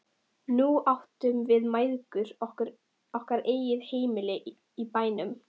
Nú áttum við mæðgur okkar eigið heimili í bænum.